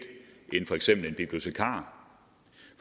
end for eksempel en bibliotekar